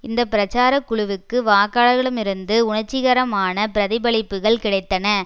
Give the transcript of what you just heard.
இந்த பிரச்சார குழுவுக்கு வாக்காளர்களிடமிருந்து உணர்ச்சிகரமான பிரதிபலிப்புக்கள் கிடைத்தன